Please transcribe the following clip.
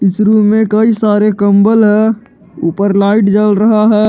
इस रूम में कई सारे कंबल है ऊपर लाइट जल रहा है।